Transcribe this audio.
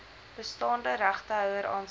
bestaande regtehouer aansoekers